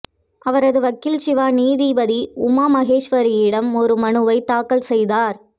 அவரது வக்கீல் சிவா நீதிபதிஉமா மகேஸ்வரியிடம் ஒரு மனுவைத் தாக்கல் செய்தார்